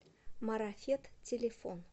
марафет телефон